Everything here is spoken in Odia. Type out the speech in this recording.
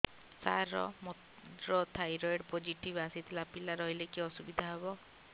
ସାର ମୋର ଥାଇରଏଡ଼ ପୋଜିଟିଭ ଆସିଥିଲା ପିଲା ରହିଲେ କି ଅସୁବିଧା ହେବ